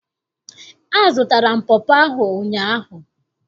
Azụtara m pọpọ ahụ ụnyaahụ.